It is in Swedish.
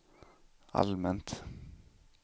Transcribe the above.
allmänt